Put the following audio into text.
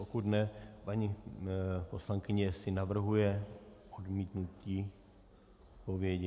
Pokud ne, paní poslankyně asi navrhuje odmítnutí odpovědi.